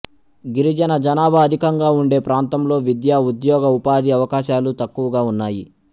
గిరిజన జనాభా అధికంగా ఉండే ప్రాంతంలో విద్యా ఉద్యోగ ఉపాధి అవకాశాలు తక్కువగా ఉన్నాయి